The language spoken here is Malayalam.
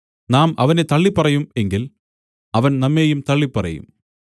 നാം അവനെ തള്ളിപ്പറയും എങ്കിൽ അവൻ നമ്മെയും തള്ളിപ്പറയും